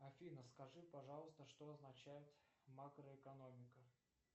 афина скажи пожалуйста что означает макроэкономика